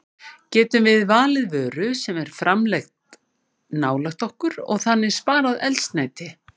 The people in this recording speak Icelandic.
Getum við valið vöru sem er framleidd nálægt okkur og þannig sparað eldsneyti?